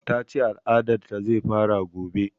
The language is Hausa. Ta ce al'adar ta zai fara gobe